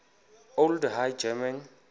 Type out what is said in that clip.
old high german